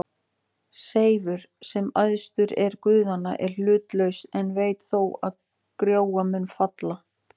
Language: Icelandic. Seifur, sem æðstur er guðanna, er hlutlaus en veit þó að Trója mun falla.